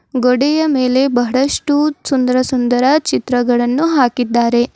ಗೋಡೆಯ ಮೇಲೆ ಬಹಳಷ್ಟು ಸುಂದರ ಸುಂದರ ಚಿತ್ರಗಳನ್ನು ಹಾಕಿದ್ದರೆ.